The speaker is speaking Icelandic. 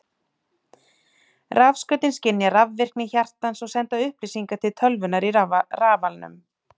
Rafskautin skynja rafvirkni hjartans og senda upplýsingar til tölvunnar í rafalnum.